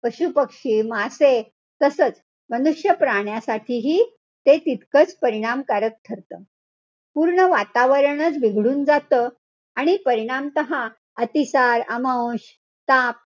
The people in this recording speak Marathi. पशुपक्षी, मासे, तसंच मनुष्यप्राण्यासाठीही ते तितकच परिणामकारक ठरतं. पूर्ण वातावरणचं बिघडून जातं. आणि परिणामतः अतिताण, ताप,